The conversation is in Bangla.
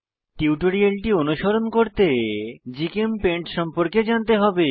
টিউটোরিয়ালটি অনুসরণ করতে জিচেমপেইন্ট সম্পর্কে জানতে হবে